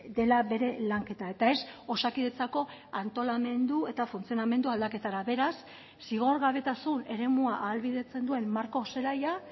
dela bere lanketa eta ez osakidetzako antolamendu eta funtzionamendu aldaketara beraz zigorgabetasun eremua ahalbidetzen duen marko zelaia